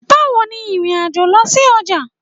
Bawo ni ìrìn-àjò lọ sí ọjà